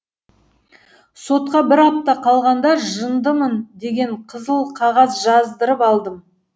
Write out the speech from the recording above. сотқа бір апта қалғанда жындымын деген қызыл қағаз жаздырып алдым